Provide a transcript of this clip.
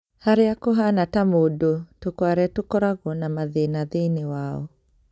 Haria kuhana ta mundu, tukware tukoragwo na mathĩna thĩinĩ wao